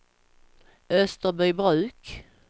Österbybruk